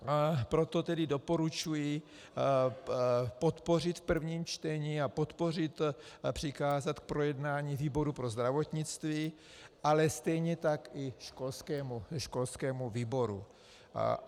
Proto tedy doporučuji podpořit v prvním čtení a podpořit přikázat k projednání výboru pro zdravotnictví, ale stejně tak i školskému výboru.